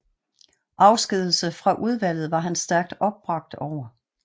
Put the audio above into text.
Afskedigelse fra udvalget var han stærkt opbragt over